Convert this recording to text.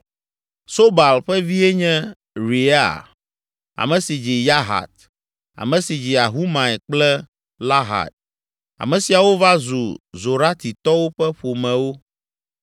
Sobal ƒe vie nye Reaia, ame si dzi Yahat, ame si dzi Ahumai kple Lahad. Ame siawo va zu Zoratitɔwo ƒe ƒomewo.